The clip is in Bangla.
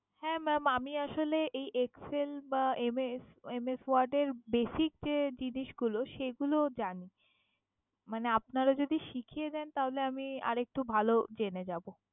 হ্যা maam আমি আসলে এই excel বা MS word এর basic যে জিনিসগুলো জানি। মানে আপনারা যদি শিখিয়ে দেন তাহলে আমি আরেকটু ভালো জেনে যাবো।